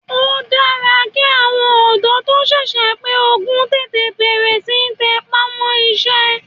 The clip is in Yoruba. Ó dára ki àwọn ọ̀dọ́ tó sẹ̀sẹ̀ pé ogún tètè bẹ̀rẹ̀ síí tẹ ipá mọ́ iṣẹ́.